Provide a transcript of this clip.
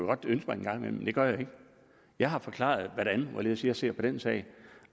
godt ønske mig en gang imellem men det gør jeg ikke jeg har forklaret hvordan og hvorledes jeg ser på den sag